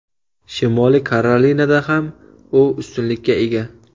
Shimoliy Karolinada ham u ustunlikka ega.